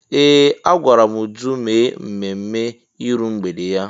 Ee! Agwara m Uju mee ememme iru mgbede ya.